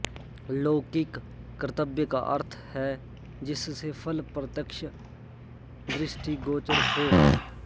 लौकिक कर्तव्य का अर्थ है जिससे फल प्रत्यक्ष दृष्टिगोचर हो